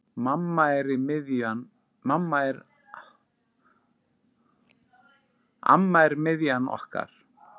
Amma er miðjan okkar.